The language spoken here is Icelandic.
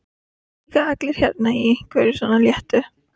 Það voru líka allir hérna í einhverju svona léttu.